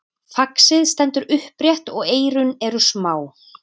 faxið stendur upprétt og eyrun eru smá